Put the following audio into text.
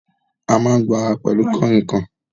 A máa ń gbo ara pẹ̀lú kànrìnkàn